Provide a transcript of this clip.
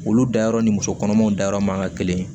Olu dayɔrɔ ni musokɔnɔmaw dayɔrɔ man ka kelen